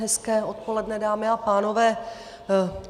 Hezké odpoledne, dámy a pánové.